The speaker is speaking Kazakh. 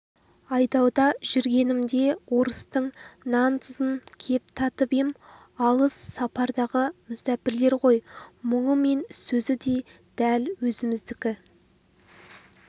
айдауда жүргенімде орыстың нан-тұзын кеп татып ем алыс сапардағы мүсәпірлер ғой мұңы мен сөзі дәл өзімдікі